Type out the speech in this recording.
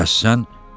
Bəs sən?